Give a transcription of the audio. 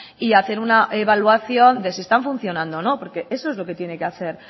y hacer una evaluación de si están funcionando o no porque eso es lo que tiene que hacer